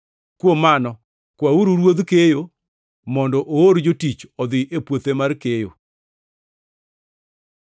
Kuom mano, kwauru Ruodh keyo mondo oor jotich odhi e puothe mar keyo.”